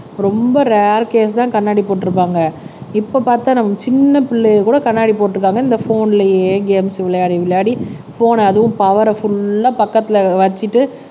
ரொம்ப ரர் கேஸ்தான் கண்ணாடி போட்டிருப்பாங்க இப்ப பார்த்தா நம்ம சின்ன பிள்ளையை கூட கண்ணாடி போட்டிருக்காங்க இந்த போன்லயே கேம்ஸ் விளையாடி விளையாடி போன்ன அதுவும் பவர புல்லா பக்கத்துல வச்சுட்டு